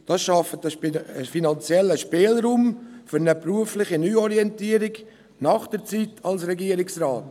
Dies schafft einen finanziellen Spielraum für eine berufliche Neuorientierung nach der Zeit als Regierungsrat.